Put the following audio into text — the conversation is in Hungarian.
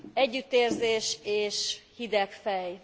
Együttérzés és hideg fej.